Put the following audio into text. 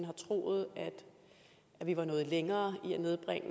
har troet at vi var nået længere i at nedbringe